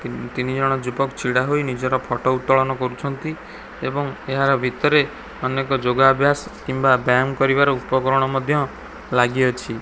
ତିନି ଜଣ ଯୁବକ ଠିଆ ହୋଇ ନିଜର ଫୋଟୋ ଉତ୍ତୋଳନ କରୁଛନ୍ତି ଏବଂ ଏହାର ଭିତରେ ଅନେକ ଯୋଗା ଅଭ୍ୟାସ କିମ୍ବା ବ୍ୟାୟାମ କରିବାର ଉପକରଣ ମଧ୍ୟ ଲାଗିଅଛି।